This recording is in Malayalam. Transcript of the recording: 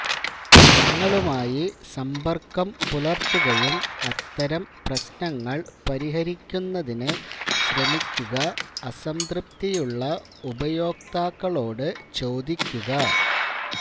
നിങ്ങളുമായി സമ്പർക്കം പുലർത്തുകയും അത്തരം പ്രശ്നങ്ങൾ പരിഹരിക്കുന്നതിന് ശ്രമിക്കുക അസംതൃപ്തിയുള്ള ഉപയോക്താക്കളോട് ചോദിക്കുക